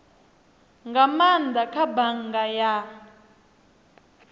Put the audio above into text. nga maanda kha bannga ya